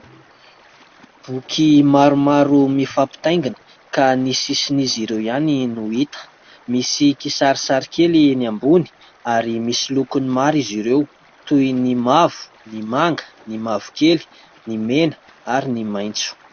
Boky maromaro mifampitaingina ka ny sisin'izy ireo ihany no hita. Misy kisarisary kely eny ambony ary misy lokony maro izy ireo : toy ny mavo, ny manga, ny mavokely, ny mena ary ny maitso.